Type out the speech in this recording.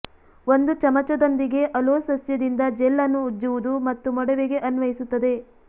ಒಂದು ಚಮಚದೊಂದಿಗೆ ಅಲೋ ಸಸ್ಯದಿಂದ ಜೆಲ್ ಅನ್ನು ಉಜ್ಜುವುದು ಮತ್ತು ಮೊಡವೆಗೆ ಅನ್ವಯಿಸುತ್ತದೆ